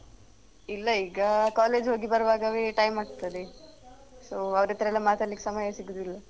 ಇಲ್ಲ ಈಗ college ಹೋಗಿ ಬರುವಾಗವೇ time ಆಗ್ತದೆ so ಅವ್ರತ್ರೆಲ್ಲ ಮಾತಾಡ್ಲಿಕ್ಕ್ ಸಮಯ ಸಿಗುದಿಲ್ಲ.